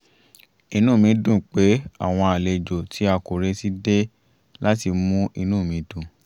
inú mi dùn pé àwọn àlejò tí a kò retí dé láti mú inú mi dùn